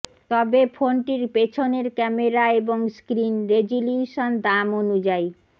তবে ফোনটির পেছনের ক্যামেরা এবং স্ক্রিন রেজলিউশন দাম অনুযায়ী